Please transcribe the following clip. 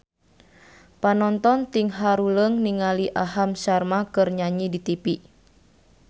Panonton ting haruleng ningali Aham Sharma keur nyanyi di tipi